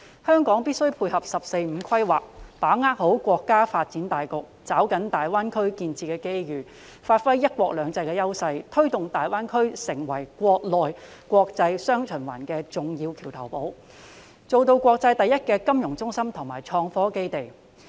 香港必須配合"十四五"規劃，把握國家的發展大局，抓緊大灣區建設的機遇，發揮"一國兩制"的優勢，推動大灣區成為"國內國際雙循環"的重要橋頭堡，做到國際第一金融中心及創科基地。